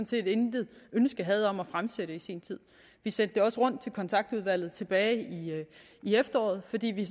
set intet ønske havde om at fremsætte i sin tid vi sendte det også rundt til kontaktudvalget tilbage i efteråret fordi vi